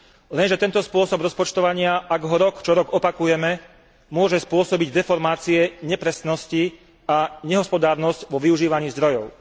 Lenže tento spôsob rozpočtovania, ak ho rok čo rok opakujeme, môže spôsobiť deformácie, nepresnosti a nehospodárnosť vo využívaní zdrojov.